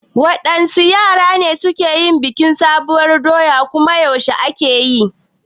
Waɗanne yare ne suke yin bikin sabuwar doya kuma yaushe ake yi?